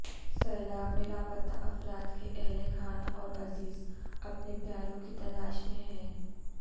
سیلاب میں لاپتہ افراد کے اہلخانہ اور عزیز اپنے پیاروں کی تلاش میں ہیں